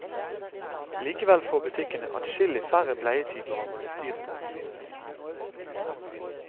Likevel får butikkene adskillig færre bleietyper å holde styr på.